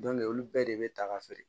olu bɛɛ de bɛ ta ka feere